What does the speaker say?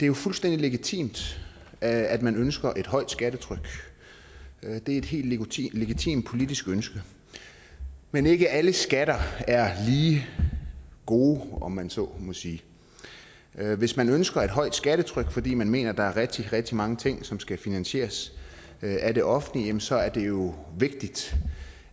jo fuldstændig legitimt at man ønsker et højt skattetryk det er et helt legitimt legitimt politisk ønske men ikke alle skatter er lige gode om man så må sige hvis man ønsker et højt skattetryk fordi man mener at der er rigtig rigtig mange ting som skal finansieres af det offentlige så er det jo vigtigt